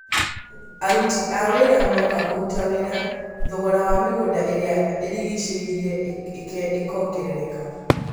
Aruri a wĩra moka kũruta wĩra, thogora wa mĩgũnda ĩrĩa ĩrigicĩirie ekongerereka